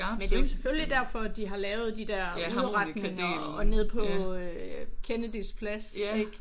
Men det er jo selvfølgelig derfor de har lavet de der udretninger nede på øh Kennedys plads ik